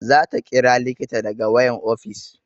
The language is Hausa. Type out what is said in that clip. Za ta ƙira likita daga wayan ofis